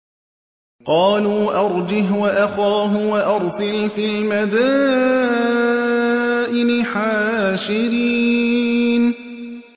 قَالُوا أَرْجِهْ وَأَخَاهُ وَأَرْسِلْ فِي الْمَدَائِنِ حَاشِرِينَ